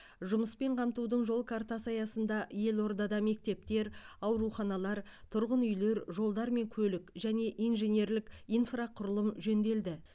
жұмыспен қамтудың жол картасы аясында елордада мектептер ауруханалар тұрғын үйлер жолдар мен көлік және инженерлік инфрақұрылым жөнделді